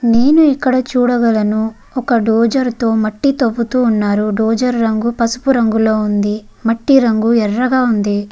నేను ఇక్కడ చూడగలను. ఒక ద్వజర్ తో మట్టి తవ్వుతున్నారు. ద్వజర్ రంగు పసుపు రంగులో ఉంది. మట్టి ఎరుపు రంగులో ఉంది.